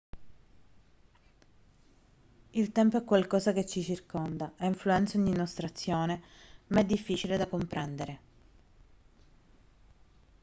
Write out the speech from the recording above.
il tempo è qualcosa che ci circonda e influenza ogni nostra azione ma è difficile da comprendere